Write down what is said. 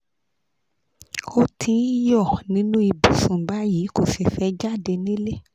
ó ti ń yọ̀ nínú ibùsùn báyìí kò sì fẹ́ jáde nílé